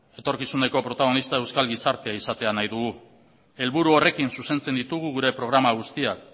etorkizuneko protagonista euskal gizartea izatea nahi dugu helburu horrekin zuzentzen ditugu gure programa guztiak